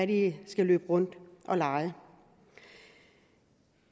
de skal løbe rundt og lege